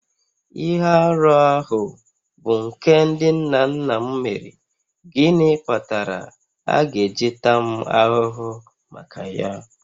Ihe arụ ahụ bụ nke ndị nna nna m mere, gịnị kpatara a ga-eji taa m ahụhụ maka ya?